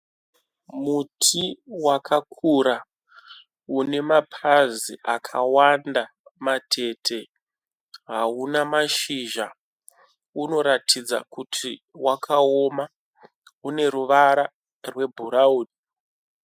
Muti wakakura une mapazi akawanda matete. Hauna mazhizha. Unoratidza kuti wakaoma. Une ruvara rwebhurauni.